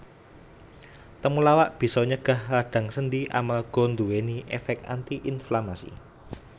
Temulawak bisa nyegah radang sendi amarga nduwèni èfèk anti inflamasi